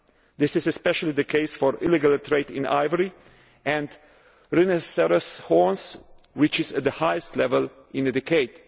crime. This is especially the case of illegal trade in ivory and rhinoceros horns which is at its highest level in a